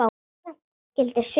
Um Mývatn gildir svipuðu máli.